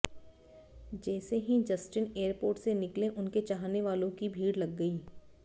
जैसे ही Justin airport से निकले उनके चाहने वालों की भीड़ लग गई